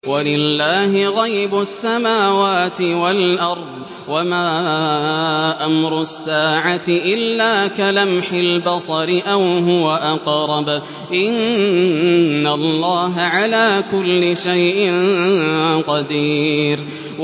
وَلِلَّهِ غَيْبُ السَّمَاوَاتِ وَالْأَرْضِ ۚ وَمَا أَمْرُ السَّاعَةِ إِلَّا كَلَمْحِ الْبَصَرِ أَوْ هُوَ أَقْرَبُ ۚ إِنَّ اللَّهَ عَلَىٰ كُلِّ شَيْءٍ قَدِيرٌ